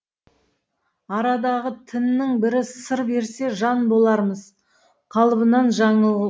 арадағы тіннің бірі сыр берсе жан болармыз қалыбынан жаңыл